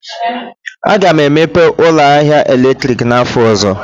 Aga m emepe ụlọ ahịa eletrik n'afọ ọzọ.